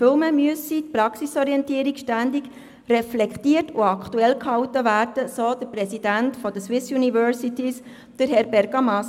Vielmehr müsse die Praxisorientierung ständig reflektiert und aktualisiert werden, so der Präsident des Vereins Swissuniversities, Crispino Bergamaschi.